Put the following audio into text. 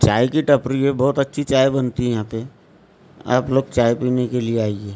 चाय की टपरी में बहुत अच्छी चाय बनती है यहाँ पे आप लोग चाय पीने के लिए आइए।